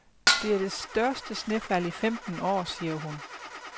Det er det største snefald i femten år, siger hun.